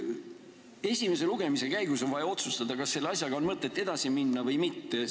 Esimese lugemise käigus on vaja otsustada, kas selle asjaga on mõtet edasi minna või mitte.